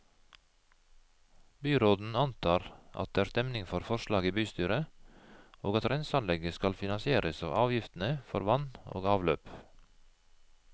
Byråden antar at det er stemning for forslaget i bystyret, og at renseanlegget skal finansieres av avgiftene for vann og avløp.